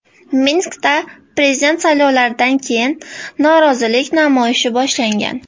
Minskda prezident saylovlaridan keyin norozilik namoyishi boshlangan .